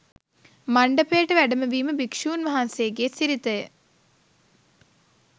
මණ්ඩපයට වැඩමවීම භික්ෂූන් වහන්සේගේ සිරිත ය.